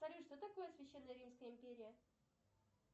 салют что такое священно римская империя